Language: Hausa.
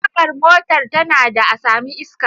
Tagar motar tana da a sami iska